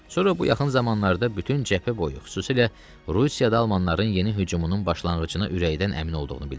Sonra bu yaxın zamanlarda bütün cəbhə boyu, xüsusilə Rusiyada almanların yeni hücumunun başlanğıcına ürəkdən əmin olduğunu bildirdi.